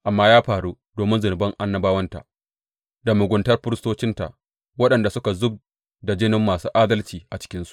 Amma ya faru domin zunuban annabawanta da muguntar firistocinta, waɗanda suka zub da jinin masu adalci a cikinsu.